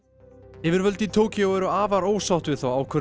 yfirvöld í Tókýó eru afar ósátt við þá ákvörðun